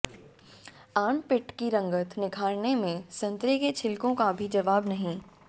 armpit की रंगत निखारने में संतरे के छिलकों का भी जवाब नहीं